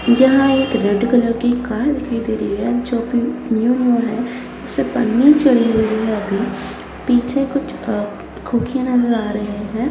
यहां एक red colour की कार दिखाई दे रही है जो अभी न्यू-न्‍यू है इसपे पन्नी चढ़ी हुई है अभी पीछे कुछ अ नजर आ रहे हैं।